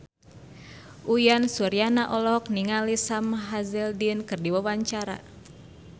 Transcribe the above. Uyan Suryana olohok ningali Sam Hazeldine keur diwawancara